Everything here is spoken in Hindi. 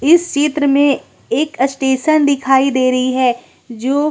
इस चित्र में एक अस्टेशन दिखाई दे रही हैं जो--